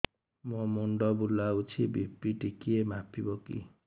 ମୋ ମୁଣ୍ଡ ବୁଲାଉଛି ବି.ପି ଟିକିଏ ମାପିବ କି